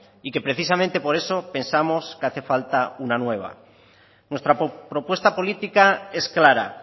y que precisamente por eso pensamos que hace falta una nueva nuestra propuesta política es clara